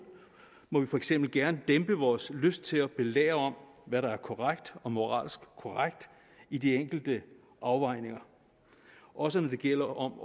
må vi for eksempel gerne dæmpe vores lyst til at belære om hvad der er korrekt og moralsk korrekt i de enkelte afvejninger også når det gælder om